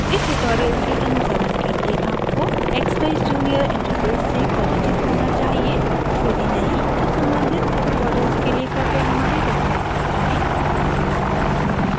इस tutorial के अनुसरण के लिए आपको expeyes junior interface से परिचित होना चाहिए यदि नहीं तो सम्बधित tutorials के लिए कृपया हमारी website पर जाएँ